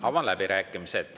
Avan läbirääkimised.